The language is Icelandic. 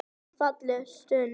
Falleg stund.